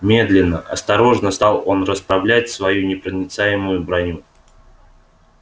медленно осторожно стал он расправлять свою непроницаемую броню